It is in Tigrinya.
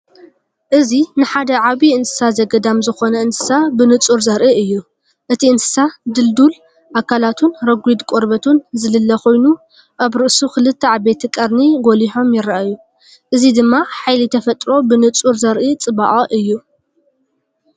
እዚ ንሓደ ዓቢይ እንስሳ ዘገዳም ዝዀነ እንስሳ ብንጹር ዘርኢ እዩ። እቲ እንስሳ ድልዱል ኣካላቱን ረጒድ ቆርበቱን ዝልለ ኮይኑ፡ ኣብ ርእሱ ክልተ ዓበይቲ ቀርኒ ጐሊሖም ይረኣዩ። እዚ ድማ ሓይሊ ተፈጥሮ ብንጹር ዘርኢ ጽባቐ እዩ።